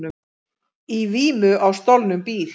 Í vímu á stolnum bíl